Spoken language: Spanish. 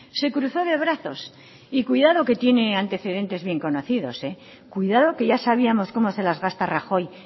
se cruzó de brazos y cuidado que tiene antecedentes bien conocidos cuidado que ya sabíamos cómo se las gasta rajoy